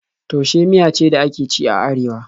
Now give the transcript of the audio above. Taushe miya ce da ake ci a Arewa.